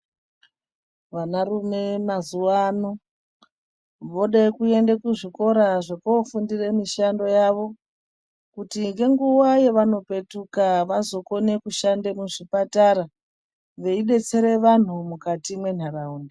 Vanarume mazuva ano vode kuende kuzvikoro zvekofundire mishando yavo kuti ngenguva yevanopetuka vazokone kushanda muzvipatara veidetsere vantu mukati mentaraunda.